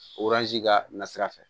ka na sira fɛ